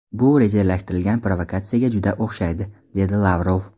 Bu rejalashtirilgan provokatsiyaga juda o‘xshaydi”, dedi Lavrov.